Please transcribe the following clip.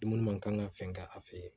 Dumuni man kan ka fɛn kɛ a fe yen